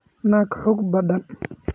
Naag xoog badan.